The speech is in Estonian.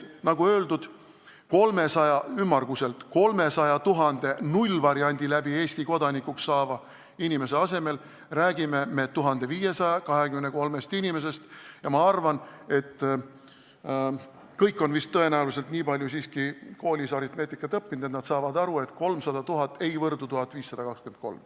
Nii et ümmarguselt 300 000 nullvariandi kaudu Eesti kodanikuks saava inimese asemel me räägime 1523 inimesest ja ma arvan, et kõik on tõenäoliselt nii palju siiski koolis aritmeetikat õppinud, et nad saavad aru, et 300 000 ei võrdu 1523-ga.